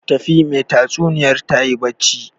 Tafi, mai tatsuniyar tayi barci